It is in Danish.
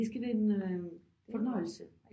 Det skal være en fornøjelse